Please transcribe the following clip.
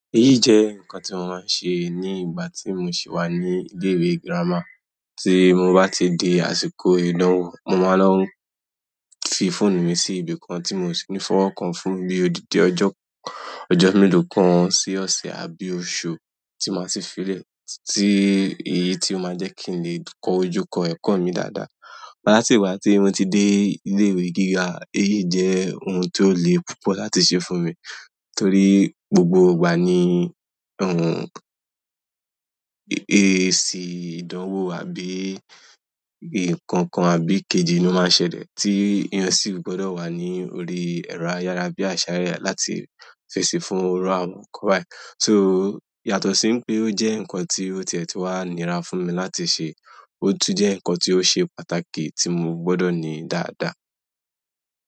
Èyí jẹ́ nǹkan tí mo máa ń sẹ ní ìgbà tí mo sì wà ní ilé ìwé girama. Tí mo bá ti di àsìkò ìdánwò, mo máa ń lọ fi fóònù mi sí ibi kan tí mo sì ní fọwọ́ kan fún bí odidi ọjọ́, ọjọ́ mélòó kan, sí ọ̀sẹ̀ àbí oṣù tí màá ṣe fi lẹ̀, tí èyí tí ó máa jẹ́ kí n lè kó ojú kó ẹ̀kọ́ mi dáadáa. Látì ìgbà tí mo ti dé ilé ìwé gíga, èyí jẹ́ ohun tó le púpọ̀ láti ṣe fún mi, torí gbogbo ìgbà ni, èsì ìdánwò àbí nǹkan kan àbí kejì ló máa ń ṣẹlẹ̀ tí ìyán sì gbọdọ̀ wà ní orí ẹ̀rọ ayára bí àṣá ré láti fesi fún iru àwọn nkan báyi. So yàtọ̀ sí pé ó jẹ́ nǹkan tí ó tìẹ́ tí wá nira fún mi láti ṣe, ó tún jẹ́ nǹkan tí ó ṣe pàtàkì tí mo gbọdọ̀ ní dáadáa.